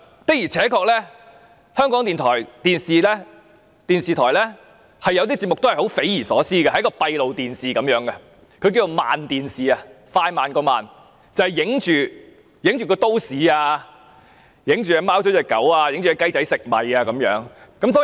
的而且確，港台電視部有些節目是匪夷所思，好像播放閉路電視的影像般，稱為"慢電視"，只是播放都市場景、貓狗追逐、小雞啄米等。